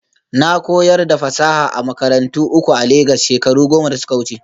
Na koyar da fasaha a makarantu uku a Legas shekaru goma da suka wuce